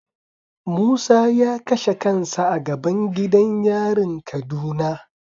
Musa ya kashe kansa a gaban gidan yarin kaduna.